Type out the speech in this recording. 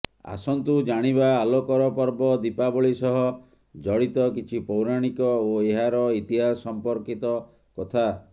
ଆସନ୍ତୁ ଜାଣିବା ଆଲୋକର ପର୍ବ ଦୀପାବଳୀ ସହ ଜଡ଼ିତ କିଛି ପୌରାଣିକ ଓ ଏହାର ଇତିହାସ ସମ୍ପର୍କିର୍ତ କଥା